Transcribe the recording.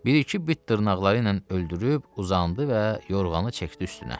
Bir-iki bit dırnaqları ilə öldürüb uzandı və yorğanı çəkdi üstünə.